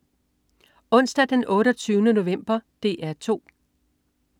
Onsdag den 28. november - DR 2: